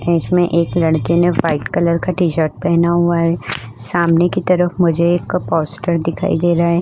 है इसमे एक लड़के ने व्हाइट कलर का टी-शर्ट पहना हुआ है सामने की तरफ मुझे एक का पोस्टर दिखाई दे रहा है।